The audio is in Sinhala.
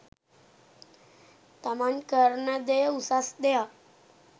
තමන් කරන දෙය උසස් දෙයක්